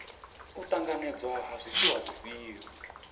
u ṱanganedzwa ha zwifhiwa zwifhio